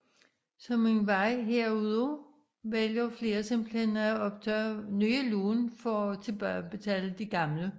Som en vej herudaf vælger flere simpelthen at optage nye lån for at tilbagebetale de gamle